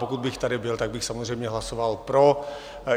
Pokud bych tady byl, tak bych samozřejmě hlasoval pro.